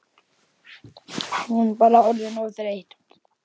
Hún bara orðin of þreytt.